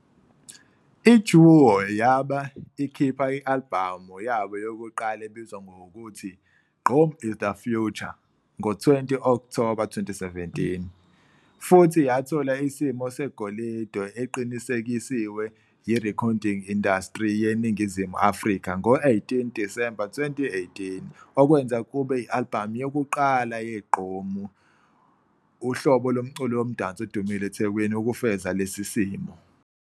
I-duo yabe ikhipha i-albhamu yabo yokuqala ebizwa ngokuthi, Gqom Is The Future ngo-20 Okthoba 2017, futhi yathola isimo segolide eqinisekisiwe yiRecording Industry yeNingizimu Afrika ngo-18 Disemba 2018 okwenza kube i-albhamu yokuqala ye-Gqom, uhlobo lomculo womdanso odumile eThekwini, ukufeza lesi simo.